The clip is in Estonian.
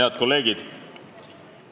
Head kolleegid!